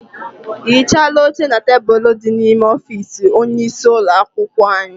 I hichaala oche na tebulu dị n'ime ọfịịsi onye isi ụlọakwụkwọ anyị?